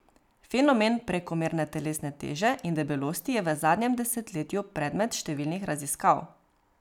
Fenomen prekomerne telesne teže in debelosti je v zadnjem desetletju predmet številnih raziskav.